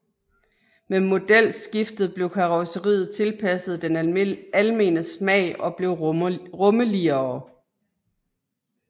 Med modelskiftet blev karrosseriet tilpasset den almene smag og blev rummeligere